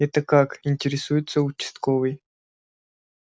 это как интересуется участковый